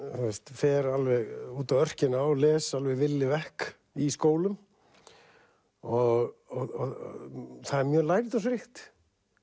fer alveg út á örkina og les alveg villevek í skólum og það er mjög lærdómsríkt